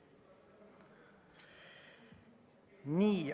Nii.